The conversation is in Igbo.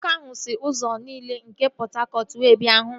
Nwoke ahụ si ụzọ niile nke Pọt Hakọt wee bịa ịhụ m